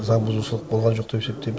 заңбұзушылық болған жоқ деп есептейміз